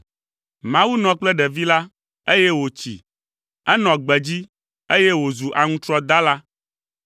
Mawu nɔ kple ɖevi la, eye wòtsi. Enɔ gbedzi, eye wòzu aŋutrɔdala.